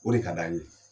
O de ka d'an ye